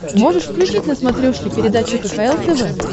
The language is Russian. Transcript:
можешь включить на смотрешке передачу кхл тв